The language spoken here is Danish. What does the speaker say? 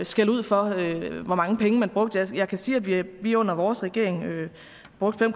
skældud for hvor mange penge man brugte jeg kan sige at vi vi under vores regering brugte